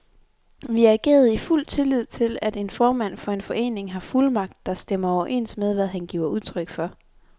Vi agerede i fuld tillid til, at en formand for en forening har fuldmagt, der stemmer overens med, hvad han giver udtryk for.